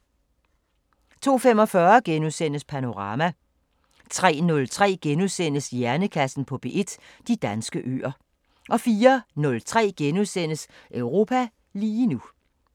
02:45: Panorama * 03:03: Hjernekassen på P1: De danske øer * 04:03: Europa lige nu *